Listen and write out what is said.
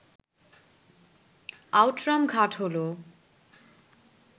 Outram Ghat হল